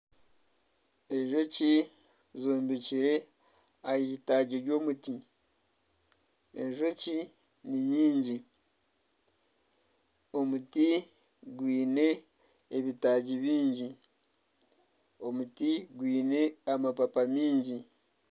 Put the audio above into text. Enjoki zombekire ahitaagi ry'omuti enjoki ni nyingi, omuti gwine ebitaagi byingi omuti gwine amabaabi maingi.